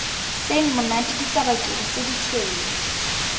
seng monate ditsabakedi tse ditshweu